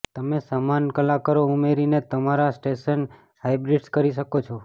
તમે સમાન કલાકારો ઉમેરીને તમારા સ્ટેશનને હાઇબ્રિડિઝ કરી શકો છો